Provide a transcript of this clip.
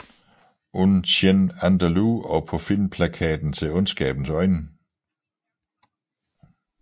Un Chien Andalou og på filmplakaten til Ondskabens øjne